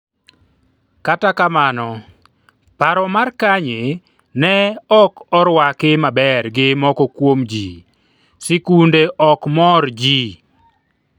kata kamano, paro mar Kanye ne ok orwaki maber gi moko kuom jii sikunde ok mor jii